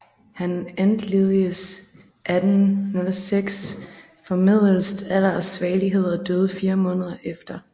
Han entledigedes 1806 formedelst alder og svagelighed og døde fire måneder efter